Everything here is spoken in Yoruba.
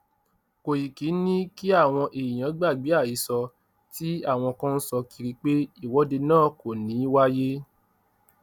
kòìkì ni kí àwọn èèyàn gbàgbé àhesọ tí àwọn kan ń sọ kiri pé ìwọde náà kò ní í wáyé